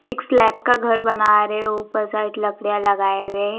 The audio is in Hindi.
एक स्लैप का घर बना रहे ऊपर साइड लकड़ियां लगाए हुए--